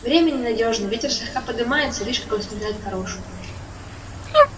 время ненадёжно ветер слегка подымается вишь как он сметает порошу